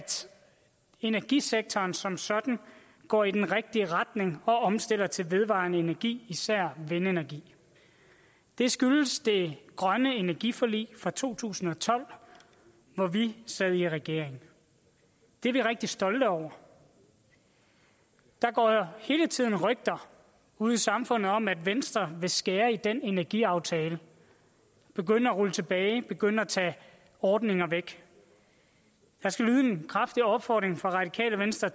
energisektoren som sådan går i den rigtige retning og omstiller til vedvarende energi især vindenergi det skyldes det grønne energiforlig fra to tusind og tolv hvor vi sad i regering det er vi rigtig stolte over der går hele tiden rygter ude i samfundet om at venstre vil skære i den energiaftale begynde at rulle tilbage begynde at tage ordninger væk der skal lyde en kraftig opfordring fra radikale venstre